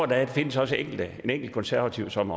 der findes en enkelt konservativ som